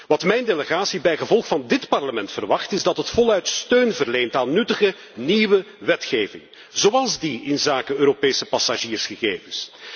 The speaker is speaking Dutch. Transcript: Wat mijn delegatie bijgevolg van dit Parlement verwacht is dat het ten volle steun verleent aan nuttige nieuwe wetgeving, zoals die inzake Europese passagiersgegevens.